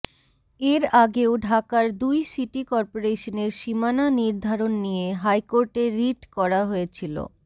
এর আগেও ঢাকার দুই সিটি করপোরেশনের সীমানা নির্ধারণ নিয়ে হাইকোর্টে রিট করা হয়েছিল